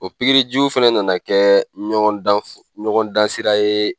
O pikirijugu fana nana kɛ ɲɔgɔndan sira ye